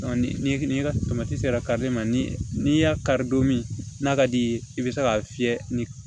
Ni ni sera kari ma ni y'a kari don min n'a ka d'i ye i be se k'a fiyɛ ni